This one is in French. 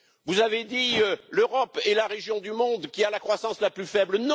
Vous avez dit L'Europe est la région du monde qui a la croissance la plus faible.